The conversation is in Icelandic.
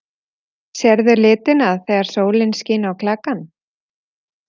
Sérðu litina þegar sólin skín á klakann?